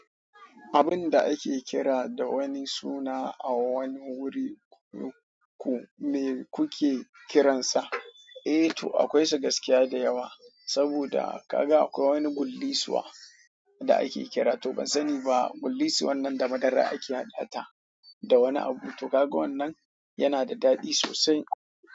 Abin da ake kira da wani suna a wani wuri, ku me kuke kiransa? Eh to akwai gaskiya da yawa, saboda kaga akwai wani gullisuwa da ake kira ban sani ba gullisuwar nan da madara ake hadata da wani abu, to kaga wanan yana da daɗi sosai.